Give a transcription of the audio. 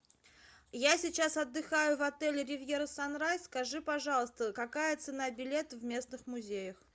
я сейчас отдыхаю в отеле ривьера санрайз скажи пожалуйста какая цена билета в местных музеях